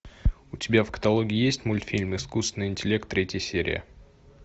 у тебя в каталоге есть мультфильм искусственный интеллект третья серия